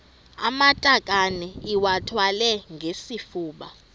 amatakane iwathwale ngesifuba